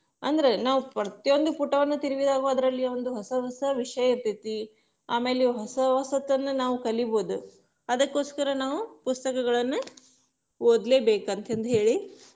ಅಂದ್ರೆ ನಾವ ಪ್ರತಿ ಒಂದು ಪುಟ ತಿರುವಿದಾಗು ಅದ್ರಲ್ಲಿ ಒಂದೊಂದು ಹೊಸ ಹೊಸ ವಿಷಯ ಇರತೇತಿ, ಆಮೇಲೆ ಹೊಸ ಹೊಸತನ್ನ ನಾವ್ ಕಲಿಬೋದು, ಅದಕ್ಕೊಸ್ಕರ ನಾವ್ ಪುಸ್ತಕಗಳನ್ನ ಓದ್ಲೇಬೇಕಂತಂದ್ಹೇಳಿ .